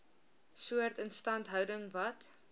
soort instandhouding wat